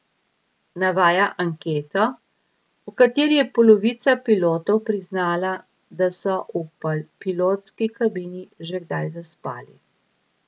Navaja anketo, v kateri je polovica pilotov priznala, da so v pilotski kabini že kdaj zaspali.